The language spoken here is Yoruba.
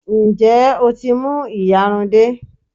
Ǹjẹ́ o tí mú ìyarun dé?